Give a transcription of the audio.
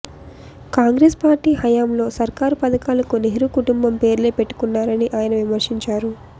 Congress party హయాంలో సర్కారు పథకాలకు నెహ్రూ కుటుంబం పేర్లే పెట్టుకున్నారని ఆయన విమర్శించారు